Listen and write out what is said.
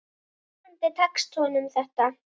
Vonandi tekst honum þetta.